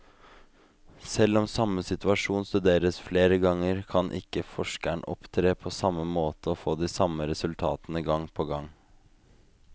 Selv om samme situasjon studeres flere ganger, kan ikke forskeren opptre på samme måte og få de samme resultatene gang på gang.